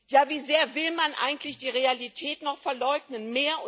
Ja, wie sehr will man eigentlich die Realität noch verleugnen?